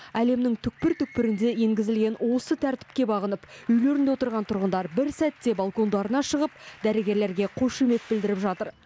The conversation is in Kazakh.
әлемнің түкпір түкпірінде енгізілген осы тәртіпке бағынып үйлерінде отырған тұрғындар бір сәтте балкондарына шығып дәрігерлерге қошемет білдіріп жатыр